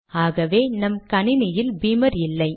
ஆகவே நம் கணினியில் பீமர் இல்லை